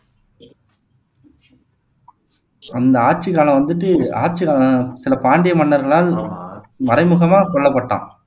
அந்த ஆட்சி காலம் வந்துட்டு ஆட்சி சில பாண்டிய மன்னர்களால் மறைமுகமா கொல்லப்பட்டான்